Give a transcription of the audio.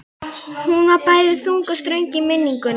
Hún var bæði þung og ströng í minningunni.